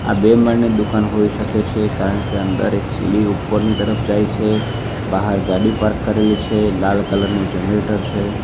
બે માળની દુકાન હોઈ શકે છે કારણ કે અંદર એક સીડી ઉપરની તરફ જાય છે બહાર ગાડી પાર્ક કરેલી છે લાલ કલર નું જનરેટર છે.